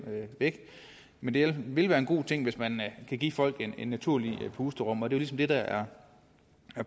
væk men det vil være en god ting hvis man kan give folk et naturligt pusterum det er ligesom det der er